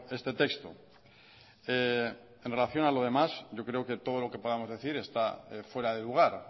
este texto en relación a lo demás yo creo que todo lo que podamos decir está fuera de lugar